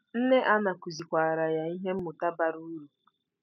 Nne Anna kụzikwaara ya ihe mmụta bara uru.